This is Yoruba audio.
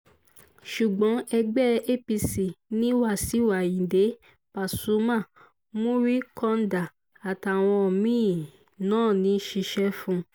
ṣùgbọ́n ẹgbẹ́ apc ni wàṣíù ayíǹde pasuma muri kanda àtàwọn mí-ín náà ń ṣiṣẹ́ fún